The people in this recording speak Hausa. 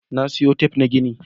Na sayo tif na gini.